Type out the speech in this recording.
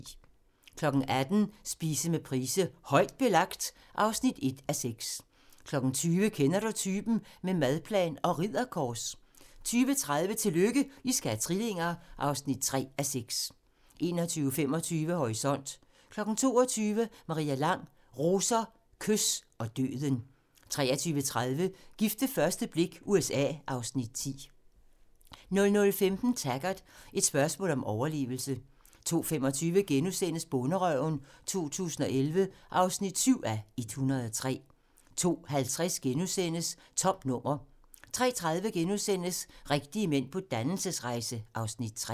18:00: Spise med Price: "Højt belagt" (1:6) 20:00: Kender Du Typen? – med madplan og Ridderkors 20:30: Tillykke, I skal have trillinger! (3:6) 21:25: Horisont 22:00: Maria Lang: Roser, kys og døden 23:30: Gift ved første blik – USA (Afs. 10) 00:15: Taggart: Et spørgsmål om overlevelse 02:25: Bonderøven 2011 (7:103)* 02:50: Tomt nummer * 03:30: Rigtige mænd på dannelsesrejse (Afs. 3)*